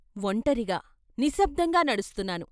ఒంటరిగా, నిశ్శబ్దంగా నడుస్తున్నాను.